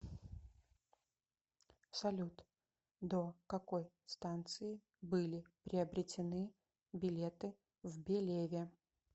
салют до какой станции были приобретены билеты в белеве